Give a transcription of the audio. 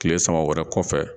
Tile sama wɛrɛ kɔfɛ